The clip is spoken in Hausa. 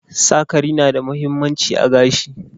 Sakari na da mahimmanci a gashi.